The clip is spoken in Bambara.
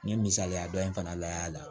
N ye misaliya dɔ in fana layɛ a la